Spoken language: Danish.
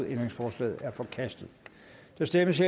ændringsforslaget er forkastet der stemmes